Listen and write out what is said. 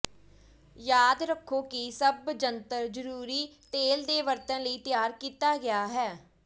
ਯਾਦ ਰੱਖੋ ਕਿ ਸਭ ਜੰਤਰ ਜ਼ਰੂਰੀ ਤੇਲ ਦੇ ਵਰਤਣ ਲਈ ਤਿਆਰ ਕੀਤਾ ਗਿਆ ਹੈ